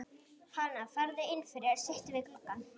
Hana, farðu inn fyrir, sittu við gluggann.